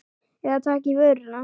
Eða taka í vörina.